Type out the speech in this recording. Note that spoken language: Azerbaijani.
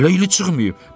Hələ ili çıxmayıb.